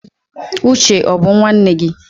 Uche ó bu nwanne gi?